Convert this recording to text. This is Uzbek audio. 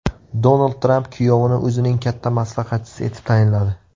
Donald Tramp kuyovini o‘zining katta maslahatchisi etib tayinladi .